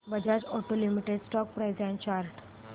Bajaj auto limited stock price and chart